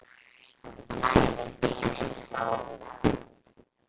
hlær við skini sólar